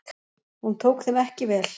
Hún tók þeim ekki vel.